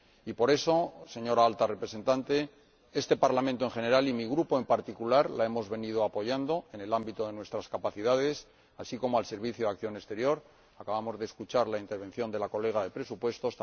Y, por eso, señora Alta Representante, este Parlamento en general y mi grupo en particular la hemos venido apoyando en el ámbito de nuestras capacidades, así como al Servicio Europeo de Acción Exterior —acabamos de escuchar la intervención de la colega de presupuestos—